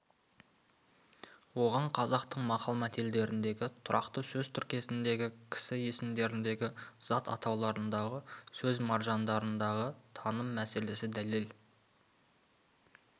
оған қазақтың мақал-мәтелдеріндегі тұрақты сөз тіркестеріндегі кісі есімдеріндегі зат атауларындағы сөз маржандарындағы таным мәселесі дәлел